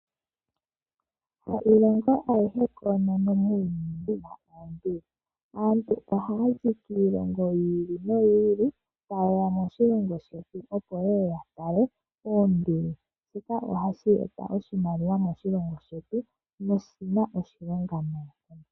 Ha Iilingo ayihe koonono muuyuni yi na oonduli. Aantu oha yazi kiilongo yi ili no yi ili ta yeya moshilongo shetu opo yeya yatale oonduli, shika oha shi eta oshimaliwa moshilongo shetu no shina oshilonga nayi.